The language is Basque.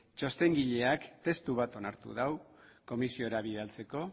txostengileak testu bat onartu dau komisiora bidaltzeko